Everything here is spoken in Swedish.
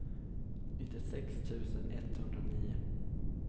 nittiosex tusen etthundranio